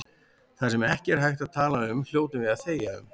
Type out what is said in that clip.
Það sem ekki er hægt að tala um hljótum við að þegja um.